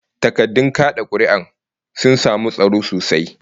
Takardun kad'a kuri'ar sun samu tsaro sosai